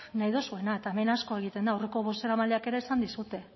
nahi duzuena eta hemen asko egiten da aurreko bozeramaileek ere esan dizute